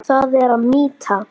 Það er mýta.